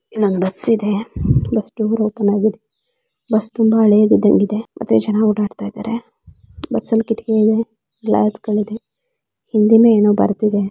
ಇಲ್ಲೊಂದ್ ಬಸ್ಸಿದೆ bus door open ಆಗಿದೆ ಬಸ್ ತುಂಬಾ ಹಳೆಯದಿದ್ದಂಗ್ ಇದೆ ಮತ್ತೆ ಜನ ಓಡಾಡ್ತಿದ್ದಾರೆ ಬಸ್ಸಲ್ ಕಿಡಕಿ ಇದೆ ಗ್ಲಾಸುಗಳಿದೆ ಹಿಂದಿಂದ ಏನೋ ಬರ್ದಿದೆ.